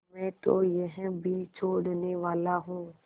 मैं तो यह भी छोड़नेवाला हूँ